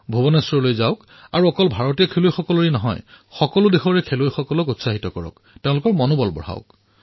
ভূৱনেশ্বৰলৈ যাওক আৰু কেৱল ভাৰতীয় দলৰেই নহয় সকলো দলৰ উৎসাহ বৃদ্ধি কৰক